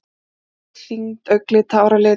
Hæð, þyngd, augnlit, háralit.